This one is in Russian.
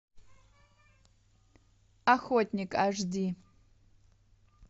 охотник аш ди